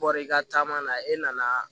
Bɔr'i ka caman na e nana